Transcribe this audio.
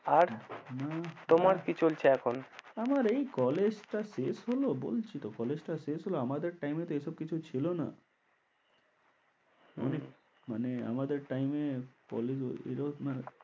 আর তোমার কি চলছে এখন? আমার এই college টা শেষ হল বলছি তো college টা শেষ হল আমাদের time এ তো এসব কিছু ছিল না হম মানে আমাদের time এ college,